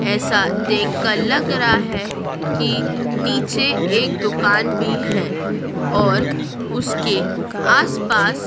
ऐसा देखकर लग रहा है की नीचे एक दुकान भी हैं और उसके आसपास--